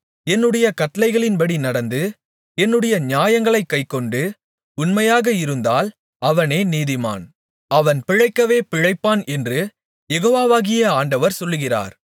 என்னுடைய கட்டளைகளின்படி நடந்து என்னுடைய நியாயங்களைக் கைக்கொண்டு உண்மையாக இருந்தால் அவனே நீதிமான் அவன் பிழைக்கவே பிழைப்பான் என்று யெகோவாகிய ஆண்டவர் சொல்லுகிறார்